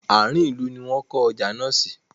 Àárín ìlú ní wón kọ́ ọjà náà sí.